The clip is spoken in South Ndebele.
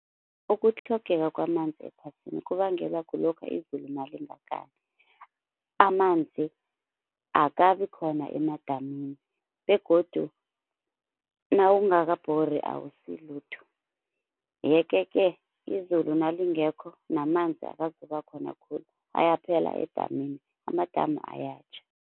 Ukutlhogeka kwamanzi ephasini kubangelwa kulokha izulu nalingakani, amanzi akabi khona emadamini begodu nawungakabhori awusilutho. Yeke-ke izulu nalingekho namanzi akazoba khona khulu, ayaphela edamini amadamu ayatjha.